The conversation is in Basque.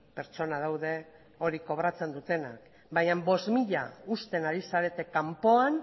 pertsona daude hori kobratzen dutenak baina bost mila uzten ari zarete kanpoan